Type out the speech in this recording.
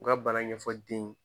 U ka bana ɲɛfɔ den